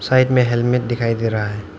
Side में helmet दिखाई दे रहा है।